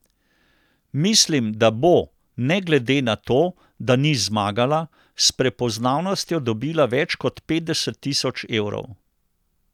Mislim, da bo, ne glede na to, da ni zmagala, s prepoznavnostjo dobila več kot petdeset tisoč evrov.